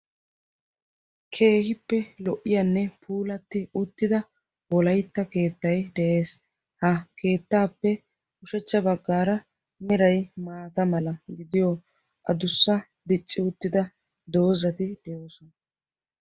Keehippe lo'iyaanne puulatti uttida wolaytta keettay de'ees. ha keettaappe ushshachcha baggaara meray maata mala gidiyaa adussa dicci uttida doozay des.